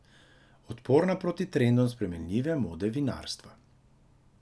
Odporna proti trendom spremenljive mode vinarstva.